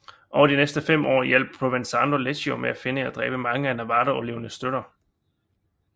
Over de næste fem år hjalp Provenzano Leggio med at finde og dræbe mange af Navarra overlevende støtter